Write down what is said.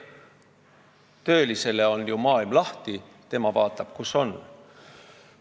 Töölisele on ju maailm lahti, eks tema vaatab, kus on parem palk.